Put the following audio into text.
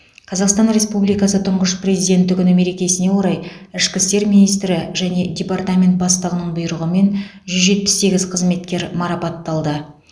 қазақстан республикасы тұңғыш президенті күні мерекесіне орай ішкі істер министрі және департамент бастығының бұйрығымен жүз жетпіс сегіз қызметкер марапатталды